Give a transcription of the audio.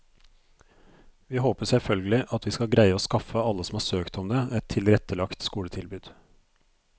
Vi håper selvfølgelig at vi skal greie å skaffe alle som har søkt om det, et tilrettelagt skoletilbud.